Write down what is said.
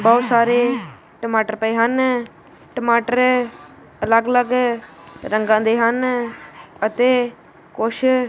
ਬਹੁਤ ਸਾਰੇ ਟਮਾਟਰ ਪਏ ਹਨ ਟਮਾਟਰ ਅਲੱਗ ਅਲੱਗ ਰੰਗਾਂ ਦੇ ਹਨ ਅਤੇ ਕੁਛ।